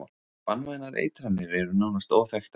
Banvænar eitranir eru nánast óþekktar.